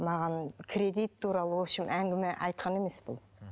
маған кредит туралы общем әңгіме айтқан емес бұл